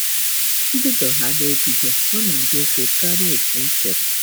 M bidohaala ebido, ọ na - adị mfe karịa otú m chere! ”